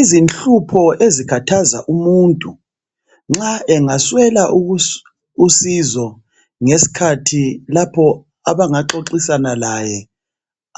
Izinhlupho ezikhathaza umuntu, nxa engaswela usizo ngesikhathi lapho abangaxoxisana laye